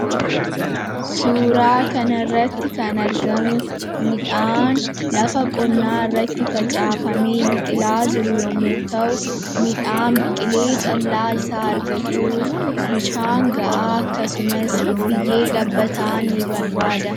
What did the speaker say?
Suuraa kanarratti kan argamu midhaan lafa qonnaarratti facaafamee biqilaa jiru yommuu ta'u, midhaan biqilee callaa isaa argachuuf bishaan gahaa akkasumas biyyee gabbataa ni barbaada.